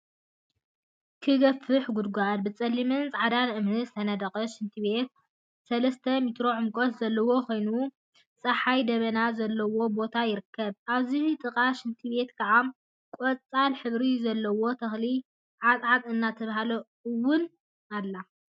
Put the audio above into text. ክገፍሕ ጉድጋድ! ብጸሊምን ጻዕዳን እምኒ ዝተነደቀ ሽንት ቤት ሰለስተ ሜትሮ ዕምቆት ዘለዎ ኮይኑ ጸሓይን ደበናን ዘለዎ ቦታ ይርከብ። ኣብዚ ጥቃ ሽንት ቤት ከዓ ቆጻል ሕብሪ ዘለዋ ተክሊ ዓጥዓጥ እትበሃል እውን ኣላ።